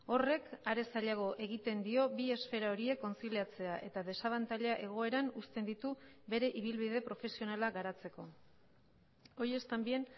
horrek are zailago egiten dio bi esfera horiek kontziliatzea eta desabantaila egoeran usten ditu bere ibilbide profesionala garatzeko hoy es también